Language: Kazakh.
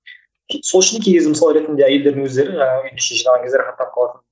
сол үшін кей кезде мысалы ретінде әйелдердің өздері жаңағы үйдің ішін жинаған кезде рахаттанып қалады